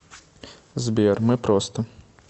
сбер мы просто